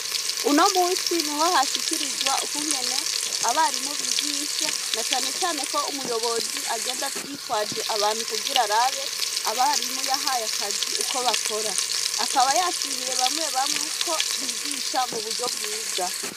Uno musi ni ho hashikirizwa ukungene abarimubigisha na canecane ko umuyobozi agenda yitwaje abantu kugira rabe abarimuyahaye akazi uko bakora akaba yashimiye bamwe bamwe ko bigisha mu buryo bwiza.